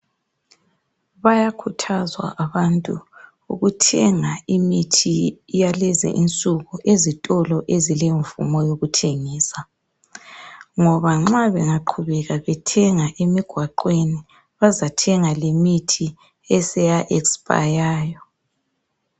Bayakhuthazwa abantu ukuthenga imithi yalezi nsuku ezitolo ezilemvumo yokuthengisa. Ngoba nxa bengaqhubeka bethenga emigwaqweni bazathenga lemithi esaya esiphayayo.